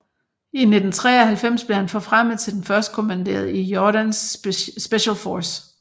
I 1993 blev han forfremmet til den førstkommanderende i Jordans Special Force